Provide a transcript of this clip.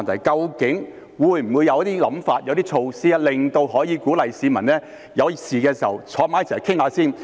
究竟會否有些想法、有些措拖，可以鼓勵市民在有事時先坐下來商討？